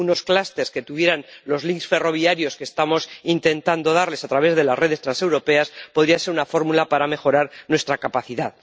Unos clústeres que tuvieran los enlaces ferroviarios que estamos intentando darles a través de las redes transeuropeas podrían ser una fórmula para mejorar nuestra capacidad.